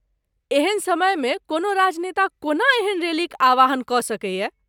एहन समयमे कोनो राजनेता कोना एहन रैलीक आह्वान कऽ सकैए?